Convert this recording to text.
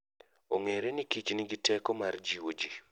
Ong'ere ni kich nigi teko mar jiwo ji.